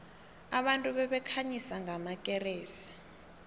abantu babekhanyisa ngamakeresi